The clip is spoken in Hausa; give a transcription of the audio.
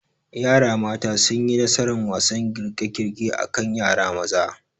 Yara mata sunyi nasaran wasan girkegirke akan yara maza